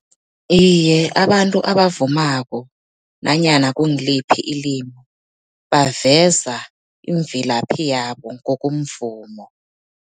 Iye, abantu abavumako nanyana kungiliphi ilimi, baveza imvelaphi yabo ngokomvumo.